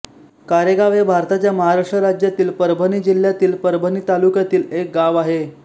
कारेगाव हे भारताच्या महाराष्ट्र राज्यातील परभणी जिल्ह्यातील परभणी तालुक्यातील एक गाव आहे